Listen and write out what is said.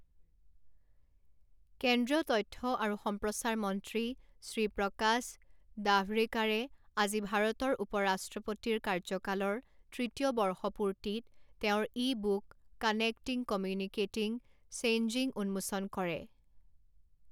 কেন্দ্ৰীয় তথ্য আৰু সম্প্ৰচাৰ মন্ত্ৰী শ্ৰী প্ৰকাশ ডাভড়েকাৰে আজি ভাৰতৰ উপ ৰাষ্ট্ৰপতিৰ কাৰ্যকালৰ তৃতীয় বৰ্ষপূৰ্তিত তেওঁৰ ebook connecting, communicating, changing উন্মোচন কৰে।